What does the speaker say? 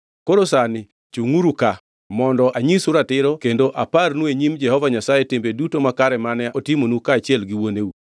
Koro sani, chungʼuru ka, mondo anyisu ratiro kendo aparnu e nyim Jehova Nyasaye timbe duto makare mane otimonu kaachiel gi wuoneu.